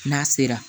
N'a sera